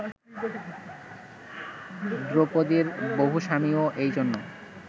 দ্রৌপদীর বহু স্বামীও এই জন্য